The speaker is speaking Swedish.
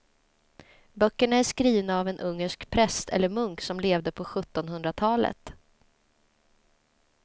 Böckerna är skrivna av en ungersk präst eller munk som levde på sjuttonhundratalet.